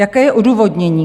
Jaké je odůvodnění?